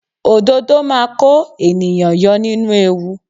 Òdodo máa kó ènìyàn yọ nínú ewu.